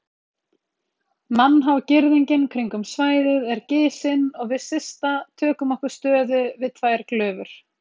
Mannhá girðingin kringum svæðið er gisin og við Systa tökum okkur stöðu við tvær glufur.